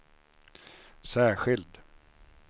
särskild